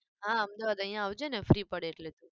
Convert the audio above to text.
હા અમદાવાદ અહિયાં આવજે ને free પડે એટલે તું.